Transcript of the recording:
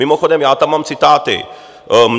Mimochodem, já tam mám citáty.